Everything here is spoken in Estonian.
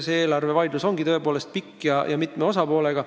Eelarvevaidlus ongi tõepoolest pikk ja mitme osapoolega.